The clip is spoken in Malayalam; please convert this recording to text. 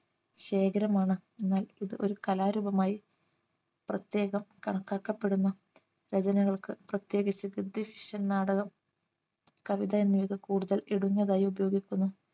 ശേഖരമാണ് എന്നാൽ ഇത് ഒരു കലാരൂപമായി പ്രത്യേകം കണക്കാക്കപ്പെടുന്ന രചനകൾക്ക് പ്രത്യേകിച്ച് നാടകം കവിത എന്നിവ കൂടുതൽ ഇടുന്നതായി ഉപയോഗിക്കുന്നു